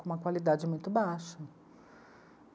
Com uma qualidade muito baixa.